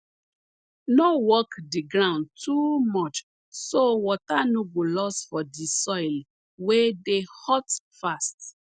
no work di ground too much so water no go loss for di soil wey dey hot fast